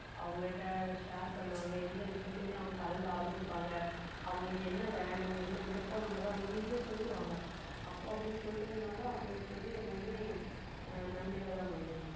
அவங்கள்ட்ட share பண்ணுவாங்க எந்த விஷயத்தையுமே அவங்க கலந்து ஆலோசிப்பாங்க அவங்களுக்கு என்ன வேணும் என்ன விருப்பம் உள்ளதோ அவங்க easy ஆ சொல்லுவாங்க அப்போ அப்படி சொல்றதுனால அவங்களுக்கு வந்து எல்லாமே ஆஹ் நன்மையிலதான் முடியும்